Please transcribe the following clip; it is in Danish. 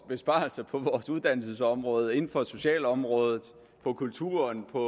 besparelser på vores uddannelsesområde inden for socialområdet på kulturområdet og